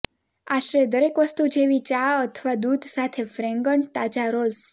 આશરે દરેક વસ્તુ જેવી ચા અથવા દૂધ સાથે ફ્રેગન્ટ તાજા રોલ્સ